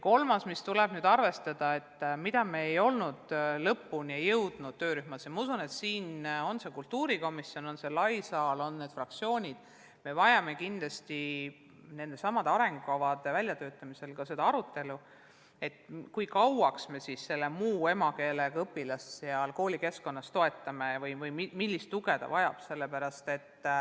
Kolmas teema, mida tuleb arvestada ja mida me ei ole jõudnud töörühmas lõpuni arutada – usun, et me vajame seda arutelu ka kultuurikomisjonis, fraktsioonides ja suures saalis –, on see, et me vajame kindlasti nende arengukavade väljatöötamisel ka seda arutelu, kui kaua me siis muu emakeelega õpilast koolikeskkonnas toetame ja millist tuge ta vajab.